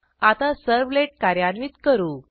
आता सर्व्हलेट कार्यान्वित करू